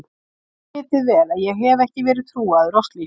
Þið vitið vel að ég hef ekki verið trúaður á slíkt.